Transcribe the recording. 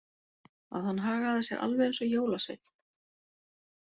Að hann hagaði sér alveg eins og jólasveinn.